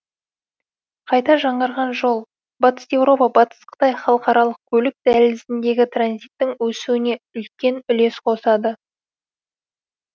қайта жаңғырған жол батыс еуропа батыс қытай халықаралық көлік дәлізіндегі транзиттің өсуіне үлес қосады